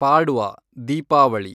Padwa , Deepavali